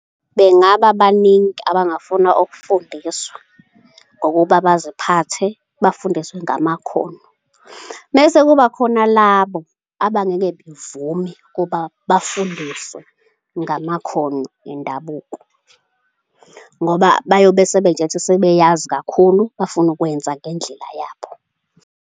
Bengaba baningi abangafuna ukufundiswa ngokuba baziphathe, bafundiswe ngamakhono. Mese kuba khona labo abangeke bevube ukuba bafundiswe ngamakhono endabuko ngoba bayobe sebey'tshela ukuthi sebeyazi kakhulu, bafuna ukwenza ngendlela yabo.